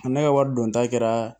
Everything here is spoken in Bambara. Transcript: Ne ka wari don ta kɛra